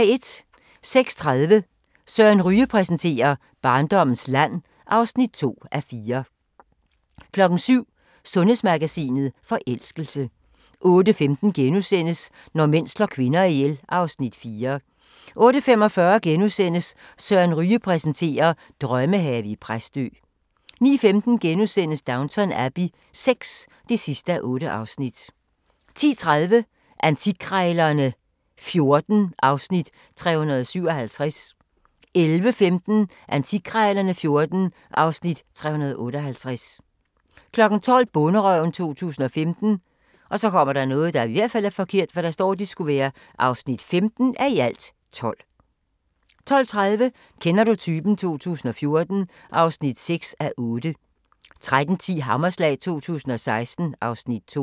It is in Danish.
06:30: Søren Ryge præsenterer: Barndommens land (2:4) 07:00: Sundhedsmagasinet: Forelskelse 08:15: Når mænd slår kvinder ihjel (Afs. 4)* 08:45: Søren Ryge præsenterer: Drømmehave i Præstø * 09:15: Downton Abbey VI (8:8)* 10:30: Antikkrejlerne XIV (Afs. 357) 11:15: Antikkrejlerne XIV (Afs. 358) 12:00: Bonderøven 2015 (15:12) 12:30: Kender du typen? 2014 (6:8) 13:10: Hammerslag 2016 (Afs. 2)